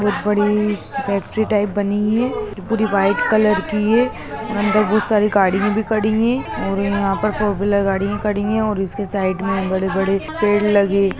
बहुत बड़ी factory type बनी हुई है पूरी वाइट कलर की है अदर बहुत सारी गाड़ी भी खड़ी है। और यहाँ पर फोर व्हीलर गाड़ी खड़ी हुई है और उसके साइड में बड़े -बड़े